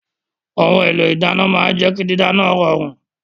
Ohun èlò ìdáná máa ń jẹ́ kí dídáná rọrùn